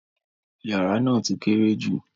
Yàrà ná ti kéré jú.